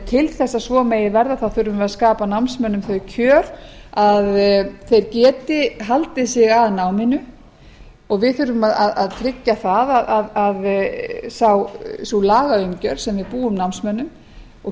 til að svo megi verða þurfum við að skapa námsmönnum þau kjör að þeir geti haldið sig að náminu og við þurfum að tryggja það að sú lagaumgjörð sem við búum námsmönnum og